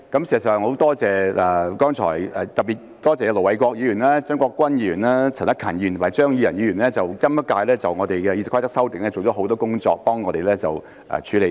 事實上，特別要多謝盧偉國議員、張國鈞議員、陳克勤議員及張宇人議員在今屆對《議事規則》的修訂做了很多工作，幫助我們處理。